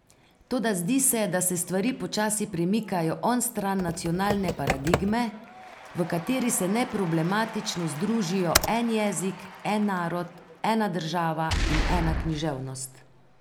Toda zdi se, da se stvari počasi premikajo onstran nacionalne paradigme, v kateri se neproblematično združijo en jezik, en narod, ena država in ena književnost.